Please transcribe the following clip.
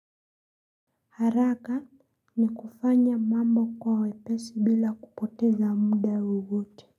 Haraka ni kufanya mambo kwa wepesi bila kupoteza muda wowote.